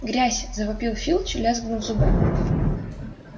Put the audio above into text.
грязь завопил филч лязгнув зубами